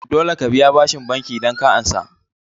Dole ka biya bashin banki idan ka ansa